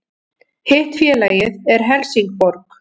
Hitt félagið er Helsingborg